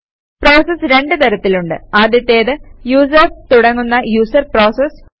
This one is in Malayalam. പ്രോസസസ് രണ്ട് തരത്തിലുണ്ട്160 ആദ്യത്തേത് യൂസേര്സ് തുടങ്ങുന്ന യൂസർ പ്രോസസസ്